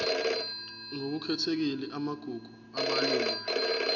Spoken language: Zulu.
ngokukhethekile amagugu abalulwe